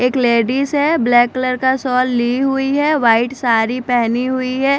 एक लेडिज है black colour का शॉल ली हुई है व्हाइट साड़ी पहनी हुई है।